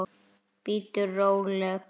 Bíddu róleg!